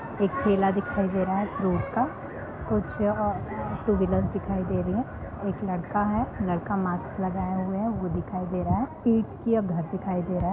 एक ठेला दिखाई दे रहा है फ्रूट का कुछ टू - व्हीलर दिखाई दे रही है और ओर एक लड़का है लड़का मास्क लगाए हुए है वो दिखाई दे रहा है पीट या घर दिखाई दे रहा है|